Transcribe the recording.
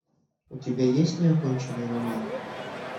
у тебя есть неоконченный роман